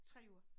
3 uger